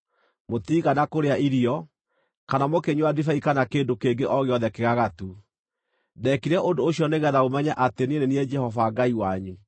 Mũtiigana kũrĩa irio, kana mũkĩnyua ndibei kana kĩndũ kĩngĩ o gĩothe kĩgagatu. Ndeekire ũndũ ũcio nĩgeetha mũmenye atĩ niĩ nĩ niĩ Jehova Ngai wanyu.